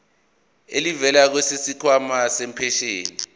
elivela kwisikhwama sempesheni